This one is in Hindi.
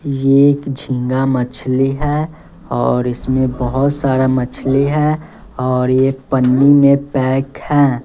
ये एक झींगा मछली है और इसमें बहोत सारा मछली है और ये पन्नी में पैक है।